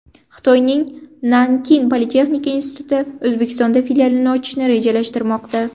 Xitoyning Nanking politexnika instituti O‘zbekistonda filialini ochishni rejalashtirmoqda.